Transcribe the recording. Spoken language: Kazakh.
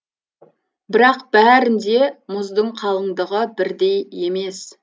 бірақ бәрінде мұздың қалыңдығы бірдей емес